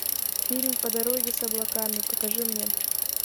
фильм по дороге с облаками покажи мне